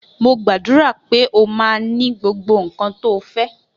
Mo gbàdúrà pe ọ ma ni gbogbo nkan to fe